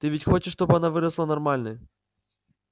ты ведь хочешь чтобы она выросла нормальной